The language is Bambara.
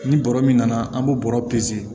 Ni bɔrɔ min na an b'o bɔrɔ